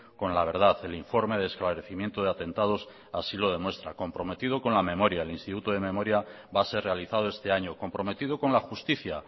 con la verdad el informe de esclarecimiento de atentados así lo demuestra comprometido con la memoria el instituto de memoria va a ser realizado este año comprometido con la justicia